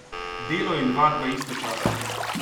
Delo in vadba istočasno!